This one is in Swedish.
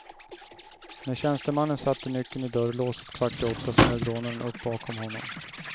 När tjänstemannen satte nyckeln i dörrlåset kvart i åtta, smög rånaren upp bakom honom.